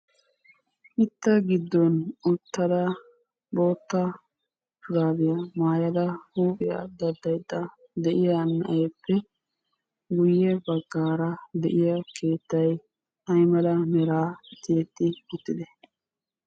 mitta giddon uttada boota shuraabiya maayada huuphiya dadaydda de'iya na'eeppe guye bagaara de'iya keettay ay mala meraa tiyetti uttidee?